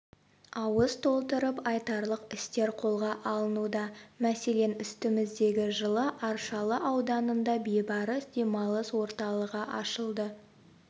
ауыз толтырып айтарлық істер қолға алынуда мәселен үстіміздегі жылы аршалы ауданында бейбарыс демалыс орталығы ашылды